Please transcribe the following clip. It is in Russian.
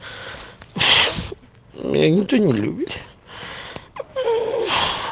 меня никто не любит